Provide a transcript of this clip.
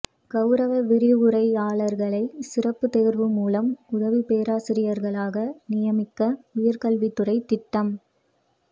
கவுரவ விரிவுரையாளர்களை சிறப்பு தேர்வு மூலம் உதவி பேராசிரியர்களாக நியமிக்க உயர்கல்வித்துறை திட்டம்